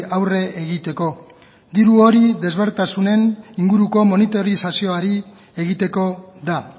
aurre egiteko diru hori ezberdintasunen inguruko monitorizazioari egiteko da